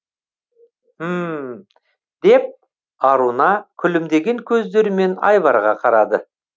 мһм деп аруна күлімдеген көздерімен айбарға қарады